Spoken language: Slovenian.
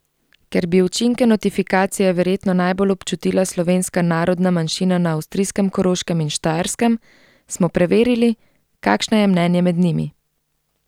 Ker bi učinke notifikacije verjetno najbolj občutila slovenska narodna manjšina na avstrijskem Koroškem in Štajerskem, smo preverili, kakšno je mnenje med njimi.